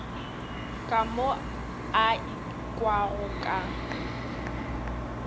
ka mo a ikwago ka